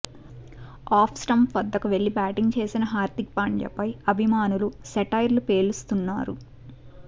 of stump వద్దకి వెళ్లి batting చేసిన హార్దిక్ పాండ్యాపై అభిమానులు సెటైర్లు పేలుస్తున్నారు